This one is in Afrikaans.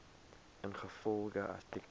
ingevolge artikel